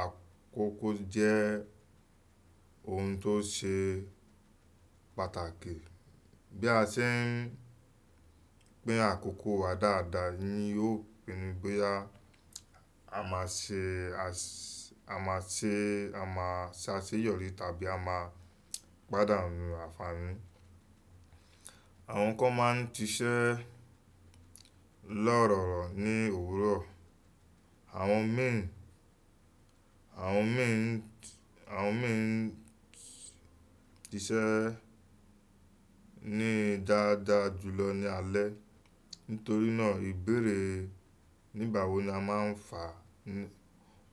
àkókò jẹ́ ohun tó ṣe pàtàkì. Bí a ṣe ń gbé àkókò wa dáadáa ni yóò pinnu bóyá a máa ṣe, a ṣe, a máa ṣe àṣeyọrí tàbí a máa pàdánù àfàárín. Àwọn kan máa ń ṣiṣẹ́ lọ́ rọ̀rọ̀ ní òwúrọ̀. Àwọn mí ì, àwọn mí ì, àwọn mí ì ń ṣiṣẹ́ ní dáadáa jùlọ ní alẹ́. Nítorí náà ìbéèrè nígbà wo ni a máa ń fà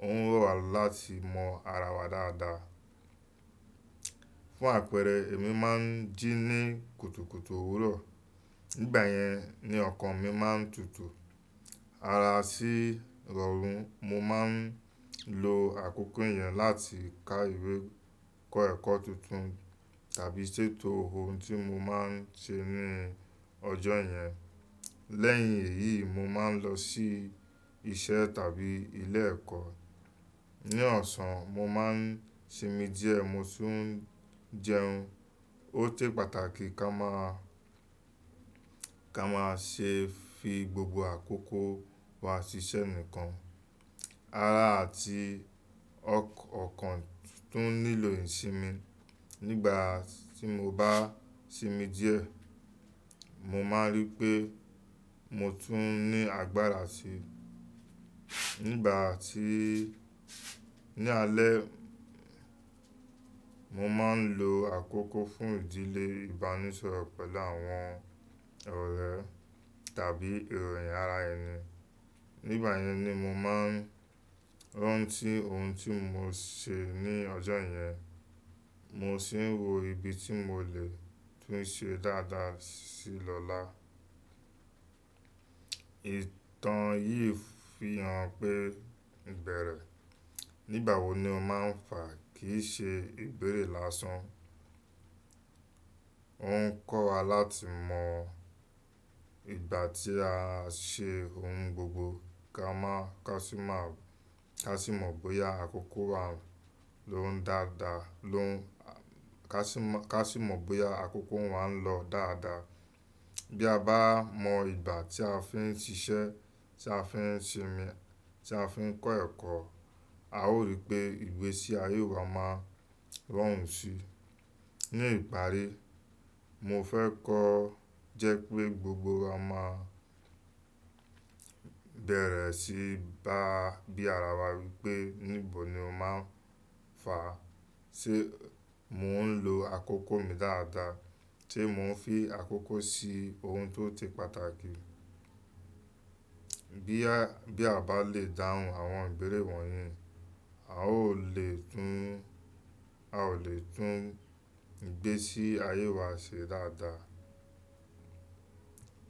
ó ń rọ̀ wá láti mọ ara wa dáadáa. Fún àpẹẹrẹ, èmi máa ń jí ní kùtùkùtù òwúrọ̀. Nígbà yẹn ni ọkàn mi máa ń tutù. Ara sí rọrùn. Mo máa ń lo àkókò yẹn láti ká ìwé, kọ́ ẹ̀kọ́ tuntun tàbí ṣètò ohun tí mo máa ń ṣe ní ọjọ́ yẹn. Lẹ́yìn èyí, mo máa ń lọ sí iṣẹ́ tàbí ilé ẹ̀kọ́. Ni ọ̀sán, mo máa ń sinmi díẹ̀ mo tu ń jẹun. Ó ṣe pàtàkì kí a máa, kí a máa ṣe fi gbogbo àkókò wa ṣiṣẹ́ nìkan. Ara àti ọkàn tún nílò ìsinmi. Nígbà tí mo bá sinmi díẹ̀, mo máa rí pé mo tún ní agbára sí i. Nígbà tí́, ní alẹ́, mo máa ń lo àkókò fún ìdílé, ìbánisọ̀rọ̀ pẹ̀lú àwọn ọ̀rẹ́ tàbí ìròyìn ara ẹni. Nígbà yẹn ni mo máa ń rántí ohun tí mo ṣe ní ọjọ́ yẹn. Mo sì ń wo ibi tí mò lè tún ṣe dáadáa sí i lọ́la. Ìtàn yìí fi hàn pé ìbẹ̀rẹ̀ nígbà wo ni o máa ń fà kì í ṣe ìbéèrè lásán. Ó ń kọ́ wa láti mọ ìgbà tí a ṣe ohun gbogbo ká máa, ká sì máa, ká sì mọ bóyá àkókò wa ló ń dáadáa, ló ń, ká sì mọ, ká sì mọ bóyá àkókò wa ń lọ dáadáa. Bí a bá mọ ìgbà tí a fi ń ṣiṣẹ́, tí a fi ń sinmi, tí a fi ń kọ́ ẹ̀kọ́, a ó rí pé ìgbésí ayé wa máa rọrùn sí i. Ni ìparí, mo fẹ́ kọ́ jẹ́ pé gbogbo wa máa bẹ̀rẹ̀ sí í bá bí ara wa wípé níbo ni o máa ń fà. Ṣé mò ń lo àkókò mi dáadáa? Ṣe mò ń fi àkókò sí ohun tó se pàtàkì? Bí a, bí a bá le dáhùn àwọn ìbéèrè wọ̀nyí, a ó lè tún, a ó lè tún ìgbésí ayé wa ṣe dáadáa.